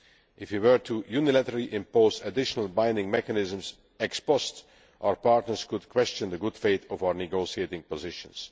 If we were unilaterally to impose additional binding mechanisms ex post, our partners could question the good faith of our negotiating positions.